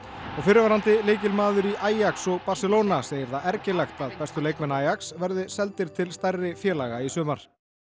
og fyrrverandi lykilmaður í Ajax og Barcelona segir það ergilegt að bestu leikmenn verði seldir til stærri félaga í sumar